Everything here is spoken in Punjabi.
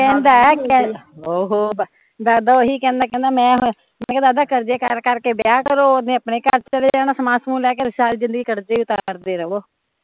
ਓਹ ਕਹਿਦਾ ਐ , ਦਾਦਾ ਓਹੀ ਕਹਿਦਾ ਮੈਂ ਮੈਂ ਕਿਹਾ ਦਾਦਾ ਕਰਜੇ ਕਰ ਕਰ ਕੇ ਵਿਆਹ ਕਰੋ ਓਹਨੇ ਵਿਆਹ ਕਰਾ ਅਪਣੇ ਘਰ ਚੱਲ ਜਣਾ ਸਮਾਨ ਸਮੂਨ ਲੈ ਕੇ, ਸਾਲ ਜ਼ਿੰਦਗੀ ਕਟਜੇਗੀ ਤਾਂ ਕੱਟਦੇ ਰਵੋ